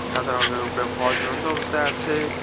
সাদা রঙ্গের উপরে ফল ঝুলন্ত অবস্থায় আছে।